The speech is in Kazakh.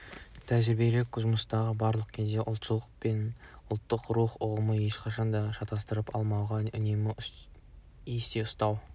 тәжірибелік жұмыста барлық кезде де ұлтшылдық пен ұлттық рух ұғымын ешқандай да шатастырып алмау жағын үнемі есте ұстау